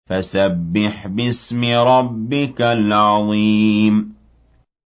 فَسَبِّحْ بِاسْمِ رَبِّكَ الْعَظِيمِ